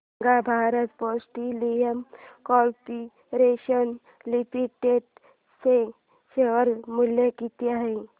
सांगा Bharat petroleum corporation limited चे share मूल्य किती आहे